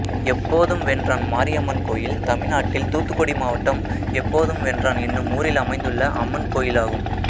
எப்போதும்வென்றான் மாரியம்மன் கோயில் தமிழ்நாட்டில் தூத்துக்குடி மாவட்டம் எப்போதும்வென்றான் என்னும் ஊரில் அமைந்துள்ள அம்மன் கோயிலாகும்